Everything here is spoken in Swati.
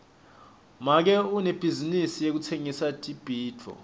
make unebhizinisi yekutsengisa tibhidvo